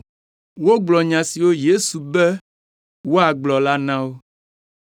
Wogblɔ nya siwo Yesu be woagblɔ la na wo.